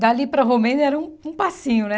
Dali para Romênia era um um passinho, né?